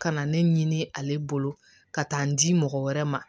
Ka na ne ɲini ale bolo ka taa n di mɔgɔ wɛrɛ ma